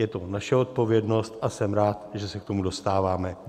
Je to naše odpovědnost a jsem rád, že se k tomu dostáváme.